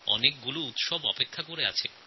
অনেক উৎসবও পালিত হয়